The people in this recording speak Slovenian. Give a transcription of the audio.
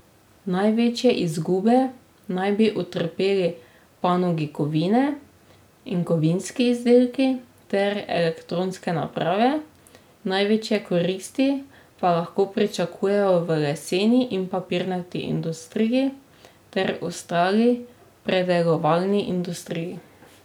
Največje izgube naj bi utrpeli panogi kovine in kovinski izdelki ter elektronske naprave, največje koristi pa lahko pričakujejo v lesni in papirni industriji ter ostali predelovalni industriji.